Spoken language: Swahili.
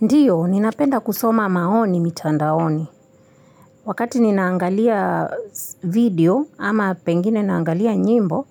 Ndiyo, ninapenda kusoma maoni mitandaoni. Wakati ninaangalia video, ama pengine naangalia nyimbo,